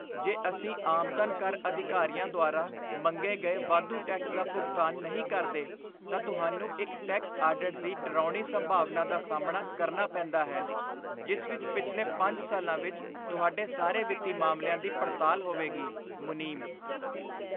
ਜੇ ਅਸੀਂ ਆਮਦਨ ਕਰ ਅਧਿਕਾਰੀਆਂ ਦੁਆਰਾ ਮੰਗੇ ਗਏ ਵਾਧੂ ਟੈਕਸ ਦਾ ਭੁਗਤਾਨ ਨਹੀਂ ਕਰਦੇ , ਤਾਂ ਤੁਹਾਨੂੰ ਇੱਕ ਟੈਕਸ ਆਡਿਟ ਦੀ ਡਰਾਉਣੀ ਸੰਭਾਵਨਾ ਦਾ ਸਾਹਮਣਾ ਕਰਨਾ ਪੈਂਦਾ ਹੈ ਜਿਸ ਵਿੱਚ ਪਿਛਲੇ ਪੰਜ ਸਾਲਾਂ ਵਿੱਚ ਤੁਹਾਡੇ ਸਾਰੇ ਵਿੱਤੀ ਮਾਮਲਿਆਂ ਦੀ ਪੜਤਾਲ ਹੋਵੇਗੀ ਮੁਨੀਮ